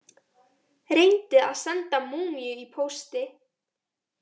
Reyndi að senda múmíu í pósti